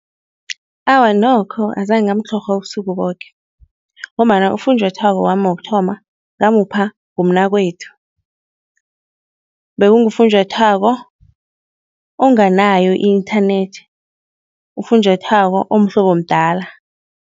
Awa nokho azange ngamtlhorha ubusuku boke ngombana ufunjathwako wami wokuthoma ngamupha ngumnakwethu. Bekungufunjathwako onganayo i-inthanethi, ufunjathwako omhlobo mdala.